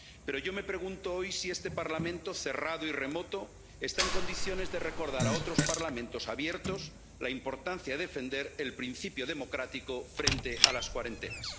Pero yo me pregunto hoy si este Parlamento, cerrado y remoto, está en condiciones de recordar a otros Parlamentos abiertos la importancia de defender el principio democrático frente a las cuarentenas.